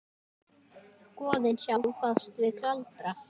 Goðin sjálf fást við galdra.